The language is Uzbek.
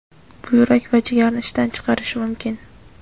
buyrak va jigarni ishdan chiqarishi mumkin.